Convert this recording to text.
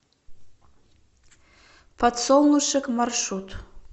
подсолнушек маршрут